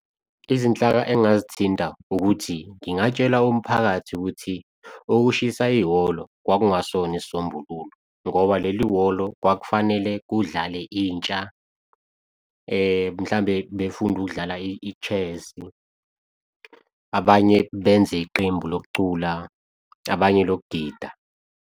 Izinhlaka engazithinta, ukuthi ngingatshela umphakathi ukuthi ukushisa ihholo kwakungesona isisombululo ngoba leli hholo kwakufanele kudlale intsha. Mhlambe befunde ukudlala i-chess abanye benze iqembu lokucula, abanye loku gida.